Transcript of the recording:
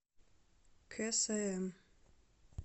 ксм